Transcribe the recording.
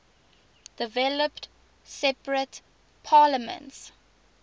developed separate parliaments